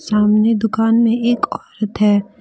सामने दुकान में एक औरत है।